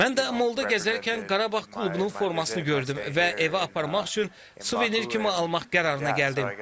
Mən də molda gəzərkən Qarabağ klubunun formasını gördüm və evə aparmaq üçün suvenir kimi almaq qərarına gəldim.